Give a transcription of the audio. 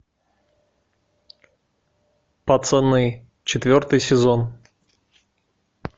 пацаны четвертый сезон